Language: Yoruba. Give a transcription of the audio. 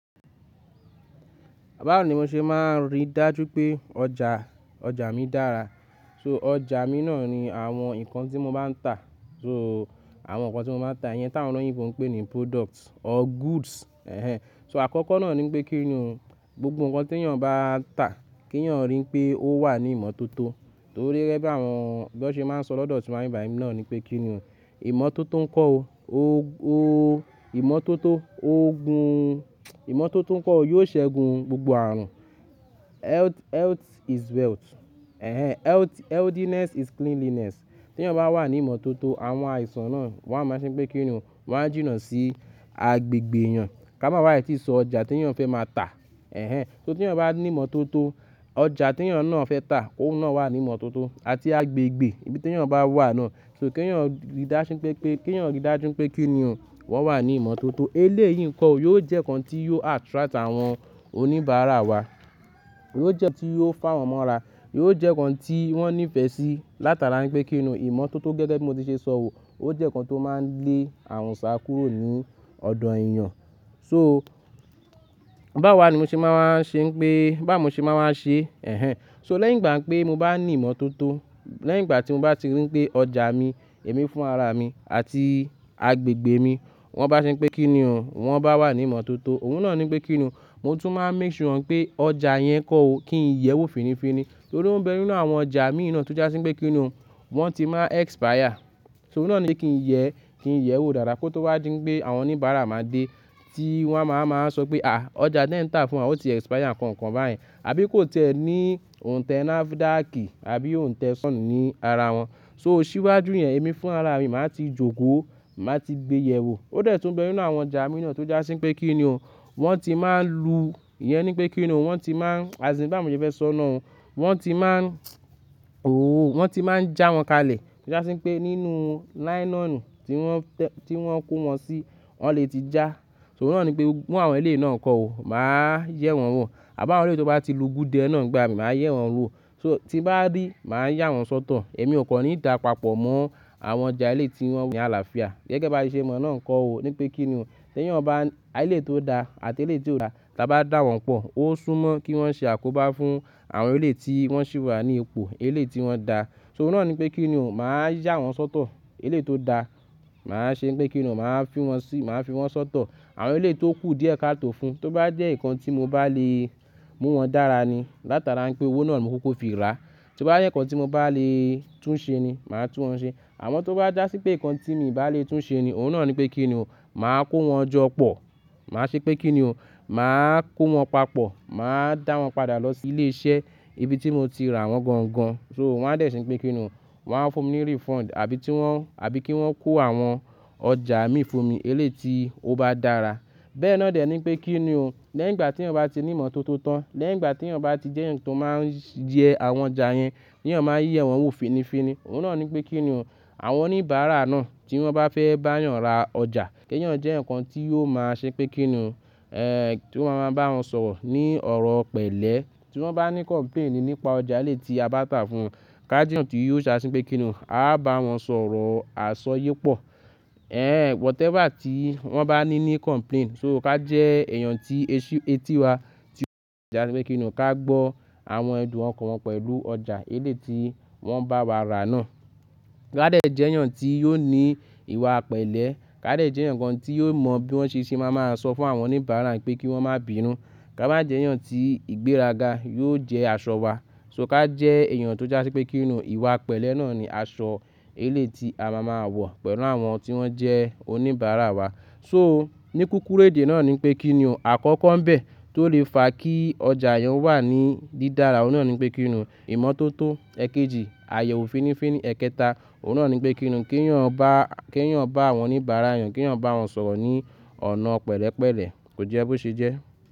Báwo ni mo ṣe máa rí dájú pé ọjà, ọjà mi dára? So ọjà mi náà ni àwọn nǹkan tí mo bá ń tà. So àwọn nǹkan tí mo máa ń tà yẹn táwọn olóyinbo pè ní products or goods. Ẹ̀hẹn. So àkọ́kọ́ náà ní pé kíni o, gbogbo nǹkan tí èèyàn bá ń tà kí èèyàn rí pé ó wà ní ìmọ́tótó. Torí gẹ́gẹ́ bí àwọn, bí wọ́n ṣe máa ń sọ lọ́dọ̀ tiwa nbi bayi náà ni pé kíni o, ìmọ́tótó ń kọ́ ọ. O, o ìmọ́tótó o gún ìmọ́tótó ń kọ́ ọ yóò ṣẹ́gun gbogbo ààrùn. Health, health is wealth. Ẹ̀hẹn. Health, healthiness is cleanliness. Tí èèyàn bá wà ní ìmọ́tótó àwọn àìsàn náà wọ́n á máa ṣe pé kíni o, wọ́n á jìnnà sí agbègbè èèyàn. Ká má bà á tìí sọ ọjà tí èèyàn fẹ́ máa tà. Ẹ̀hẹn. So tí èèyàn bá ní ìmọ́tótó ọjà tí èèyàn náà fẹ́ tà kóun náà wà ní ìmọ́tótó àti agbègbè ibi tí èèyàn bá wà náà. So kí èèyàn rí dáṣín pé pé kí èèyàn rí dájú pé kíni o, wọ́n wà ní ìmọ́tótó. Eléyìí ǹko o, yóò jẹ́ nǹkan tí yóò attract àwọn oníbàárà wa. Yóò jẹ́ nǹkan tí yóò fà wọ́n mọ́ra. Yóò jẹ́ nǹkan tí wọ́n nífẹ̀ẹ́ sí. Látara pé kíni o, ìmọ́tótó gẹ́gẹ́ bí mo ti ṣe sọ wò ó jẹ́ nǹkan tó máa ń lé ààrùn ṣá kúrò ní ọ̀dọ̀ èèyàn. So báwo wa ni mo ṣe máa wa ṣe pé báwo mo ṣe máa wa ṣe. Ẹ̀hẹn. So lẹ́yìn ìgbà pé mo bá ní ìmọ́tótó, lẹ́yìn ìgbà tí mo bá ti rí pé ọjà mi, èmi fún ara mi àti agbègbè mi wọ́n bá ṣe pé kíni o, wọ́n bá wà ní ìmọ́tótó òun náà ní pé kíni o, mo tún máa make sure pé ọjà yẹn kọ́ o kí i yẹ́wò finifiní. Torí ó ń bẹ nínú àwọn ọjà mi náà tó já sí wípé kíni o, wọ́n ti máa expire. So òun náà ni kí i yẹ́, kí i yẹ́wò dáadáa kó tó wá di pé àwọn oníbàárà máa dé tí wọ́n á máa máa sọ pé à ọjà tẹ ń tà fún wa ó ti expire nǹkan nǹkan báyen. Àbí kó ti ẹ ní òǹtẹ̀ nafidákì àbí òǹtẹ̀ sọn ní ara wọn. So ṣíwájú yẹn èmi fún ara mi màá ti jókòó, màá ti gbe yẹ wò. Ó dẹ̀ tún bẹ nínú àwọn ọjà mi náà tó já sí wípé kíni o, wọ́n ti máa n lu, ìyẹn ni pé kíni o, wọ́n ti máa, àti sí bá mo ti fẹ́ sọ náà o, wọ́n ti máa ooo wọ́n ti máa ń já wọn kalẹ̀. Tí wọ́n já sí wípé nínú nylon tí wọ́n tẹ́, tí wọ́n kó wọn sí, wọ́n le ti já. So òun náà ni pé mú àwọn eléyìí náà kọ́ o, màá yẹ́ wọ́n wò. À bá wọ́n lé tí wọ́n bá ti lu gúdé náà nígbà mi màá yẹ́ wọ́n wò. So tí bá rí màá yà wọ́n sọ́tọ̀. Èmi ò kan ní dapapọ̀ mọ́ àwọn ọjà eléyìí tí wọ́n ni aláfià. Gẹ́gẹ́ bí a ṣe mọ̀ náà kọ́ o ní pé kíni o, ṣé tèèyàn ba eléyìí tó da àti eléyìí tí ò da tí a bá dá wọn pọ̀ ó súnmọ́ kí wọ́n ṣe àkóbá fún àwọn eléyìí tí wọ́n ṣì wà ní ipò eléyìí tí wọ́n da. So òun náà ní pé kíni o, màá yà wọ́n sọ́tọ̀. Eléyìí tó da màá ṣe pé kíni o, màá fi wọ́n sí, màá fi wọ́n sọ́tọ̀. Àwọn eléyìí tó kù díẹ̀ ká tó fún. Tó bá jẹ́ nǹkan tí mo bá le mú wọn dára ni látara pé owó náà ni mo kuku fi rà. Tó bá jẹ́ nǹkan tí mo bá le tún ṣe ni màá tún wọn ṣe. Àmọ́ tó bá jà sí pé nǹkan tí èmi ò bá le tún ṣe ni òun náà ni pé kíni o, màá kó wọn jọ pọ̀. Màá ṣe pé kíni o, màá kó wọn papọ̀. Màá dá wọn padà lọ sí ilé iṣẹ́ ibi tí mo ti rà wọ́n gangan. So wọ́n á dẹ̀ ṣe pé kíni o, wọ́n á fún mi ní refund àbí tí wọ́n, àbí kí wọ́n kó àwọn ọjà mi fún mi eléyìí tí ó bá dára. Bẹ́ẹ̀ náà dẹ̀ ní pé kíni o, lẹ́yìn ìgbà tí èèyàn bá ti ní ìmọ́tótó tán, lẹ́yìn ìgbà tí èèyàn bá ti jẹ́ ǹkan tó máa ń yẹ àwọn ọjà yẹn, kí èèyàn máa yẹ́ wọ́n wò finifiní òun náà ni pé kíni o, àwọn oníbàárà náà tí wọ́n bá fẹ́ bá èèyàn ra ọjà kí èèyàn jẹ́ nǹkan tí yóò máa ṣe pé kíni o, tí wọ́n máa ń bá wọn sọ̀rọ̀ ní ọ̀rọ̀ pẹ̀lẹ́. Tí wọ́n bá ní complaint nípa ọjà eléyìí tí a bá tà fún wọn ká jẹ́ ǹkan tí yóò ṣe àṣín pé kíni o, a bá wọn sọ ọ̀rọ̀ àsọ ye pọ̀. Ẹ̀hẹn whatever tí wọ́n bá ní ní complaint so ká jẹ́ èèyàn tí eṣú etí wa tí ó ń ta ọjà pé kíni o ká gbọ́ àwọn ẹ̀dùn ọkàn wọn pẹ̀lú ọjà eléyìí tí wọ́n bá wa ra náà. Ka dẹ̀ jẹ́ eeyan tí yóò ní ìwà pẹ̀lẹ́. Ka dẹ̀ jẹ́ eeyaǹ kan tí yóò mọ bí wọ́n ṣe ṣe máa ma sọ fún àwọn oníbàárà pé kí wọ́n má bínu. Ka má jẹ́ eeyan tí ìgbéraga yóò jẹ́ aṣọ wa. So ká jẹ́ ẹ̀yàn tó já sí wípé kíni o, ìwà pẹ̀lẹ́ náà ni aṣọ eléyìí tí a máa máa wọ̀ pẹ̀lú àwọn tí wọ́n jẹ́ oníbàárà wa. So ní kúrúkù èdè náà ni pé kíni o, àkọ́kọ́ ń bẹ tó lè fa kí ọjà yan wà ní dídára. Òun náà ni pé kíni o, ìmọ́tótó. Ẹ̀kẹjì, àyẹ̀wò finifiní. Ẹ̀kẹta, òun náà ni pé kíni o, kí èèyàn bá, kí èèyàn bá àwọn oníbàárà yan, kí èèyàn bá wọn sọ̀rọ̀ ní ọ̀nà pẹ̀lẹ́pẹ̀lẹ́. Kò jẹ́ bó ṣe jẹ́.